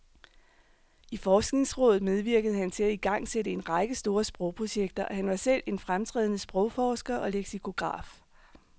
I forskningsrådet medvirkede han til at igangsætte en række store sprogprojekter, og han var selv en fremtrædende sprogforsker og leksikograf.